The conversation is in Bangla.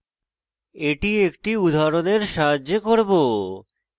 এটি একটি উদাহরণের সাহায্যে করব